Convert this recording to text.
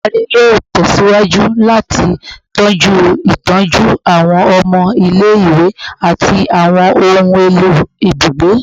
Oludari yoo tẹsiwaju lati tọju itọju awọn ọmọ ile-iwe ati awọn ohun elo ibugbe